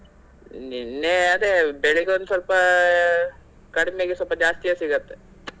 ನಿನ್ನೆ ಅದೇ ಬೆಳಿಗ್ಗೆ ಒಂದ್ ಸ್ವಲ್ಪ ಕಡಮೆಗೆ ಸ್ವಲ್ಪ ಜಾಸ್ತಿಯೇ ಸಿಗತ್ತೆ.